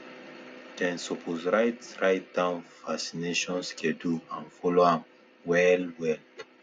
them suppose write write down vaccination schedule and follow am up well well